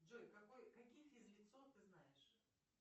джой какие физлицо ты знаешь